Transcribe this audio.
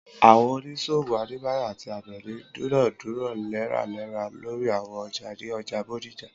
Àwọn oníṣòwò Adébáyọ̀ àti Àbẹ̀ní dúnàádúrà léraléra lórí àwọn ọjà ní ọjà Bódìjà.